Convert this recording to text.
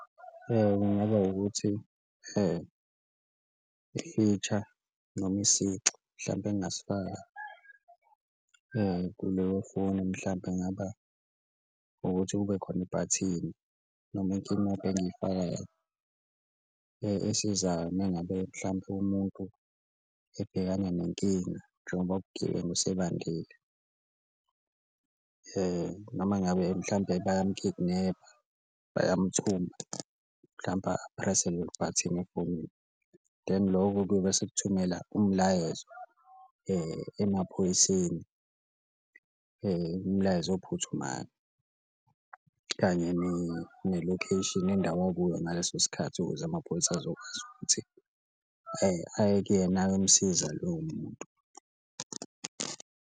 Kungaba ukuthi noma isici mhlampe engasifaka kuleyo foni mhlampe kungaba ukuthi kube khona ibhathini noma inkinobho engiyifakayo esizayo uma ngabe mhlampe umuntu ebhekana nenkinga, njengoba ubugebengu sebandile noma ngabe mhlawumbe bayamu-kidnap-a bayamthumba mhlampe aphrese lelo bhathini efonini. Then loko kuyobe sekukuthumela umlayezo emaphoyiseni, umlayezo ophuthumayo kanye ne-location, nendawo okuyo ngaleso sikhathi ukuze amapholisa azokwazi ukuthi aye kuyena ayomsiza loyo muntu.